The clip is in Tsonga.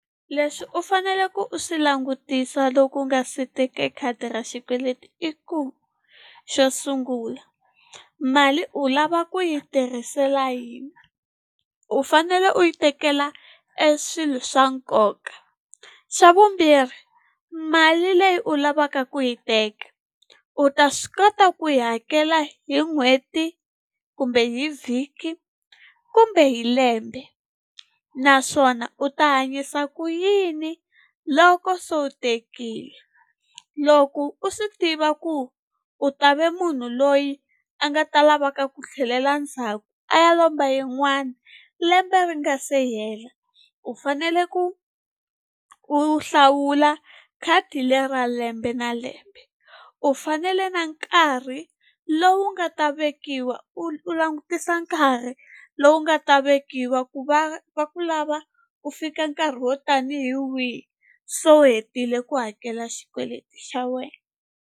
Leswi u fanele ku u swi langutisa loko u nga si teka khadi ra xikweleti i ku xo sungula mali u lava ku yi tirhisela yini. u fanele u yi tekela eswilo swa nkoka. Xa vumbirhi mali leyi u lavaka ku yi teka u ta swi kota ku yi hakela hi n'hweti kumbe hi vhiki kumbe hi lembe, naswona u ta hanyisa ku yini loko so u tekile. Loko u swi tiva ku u ta ve munhu loyi a nga ta lavaka ku tlhelela ndzhaku a ya lomba yin'wana lembe ri nga se hela, u fanele ku u hlawula khadi leri ra lembe na lembe u fanele na nkarhi lowu nga ta vekiwa u langutisa nkarhi lowu nga ta vekiwa ku va va ku lava ku fika nkarhi wo tani hi wihi so u hetile ku hakela xikweleti xa wena.